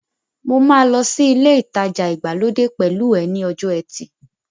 Mo máa lọ sí ilé ìtajà ìgbàlódé pẹ̀lú ẹ ní ọjọ́ ẹtì